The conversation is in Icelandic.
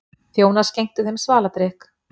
Þjónar skenktu þeim svaladrykk.